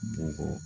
Bɔgɔ